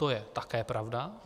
To je také pravda.